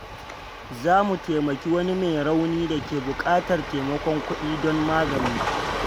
Za mu taimaki wani mai rauni da ke buƙatar taimakon kudi don magani.